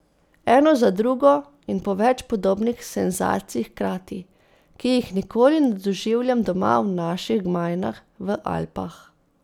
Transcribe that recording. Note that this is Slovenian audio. Eno za drugo in po več podobnih senzacij hkrati, ki jih nikoli ne doživljam doma v naših gmajnah v Alpah.